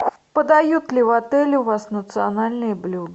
подают ли в отеле у вас национальные блюда